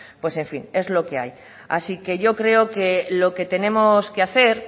pues en fin es lo que hay así que yo creo que lo que tenemos que hacer